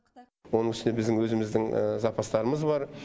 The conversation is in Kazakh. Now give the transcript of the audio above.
оның үстіне біздің өзіміздің запастарымыз бар